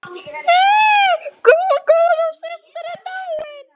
Hún Guðrún systir er dáin.